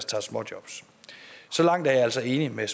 tager småjobs så langt er jeg altså enig med